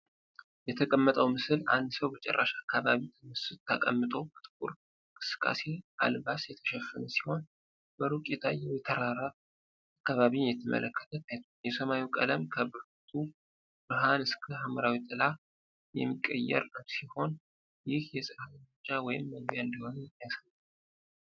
የተቀመጠው ምስል አንድ ሰው በጭራሽ አካባቢ ተቀምጦ በጥቁር እንቅስቃሴ አልባስ የተሸፈነ ሲሆን፣ በሩቅ የታየው የተራራ አካባቢን እየተመለከተ ታይቷል። የሰማዩ ቀለም ከብርቱ ብርሃን እስከ ሐምራዊ ጥላ የሚቀየር ሲሆን፣ ይህ የፀሐይ መውጫ ወይም መግቢያ እንደሆነ ያሳያል።